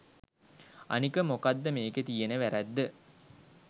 අනික මොකද්ද මෙකේ තියෙන වැරැද්ද